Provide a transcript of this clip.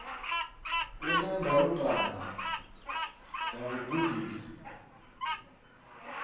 u na ndalukanyo dza vhugudisi